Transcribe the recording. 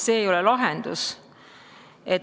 See ei ole lahendus.